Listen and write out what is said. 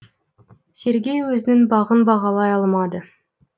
сергей өзінің бағын бағалай алмады